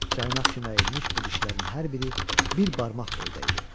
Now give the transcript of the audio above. Caynaq kimi əyilmiş bu dişlərin hər biri bir barmaq boyda idi.